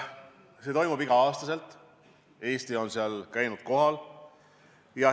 See toimub iga aasta, Eesti on nendel kohtumistel kohal käinud.